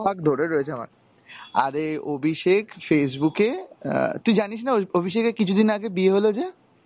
ধরে রয়েছে আমার, আরে অভিষেক Facebook এ, আহ তুই জানিস না ওই অভিষেকের কিছু দিন আগে বিয়ে হলো যে?